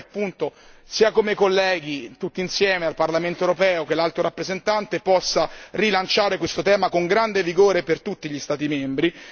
E spero che, sia come colleghi tutti insieme al Parlamento europeo, che l'Alto rappresentante, si possa rilanciare questo tema con grande vigore per tutti gli Stati membri.